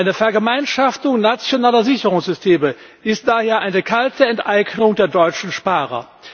Eine Vergemeinschaftung nationaler Sicherungssysteme ist daher eine kalte Enteignung der deutschen Sparer.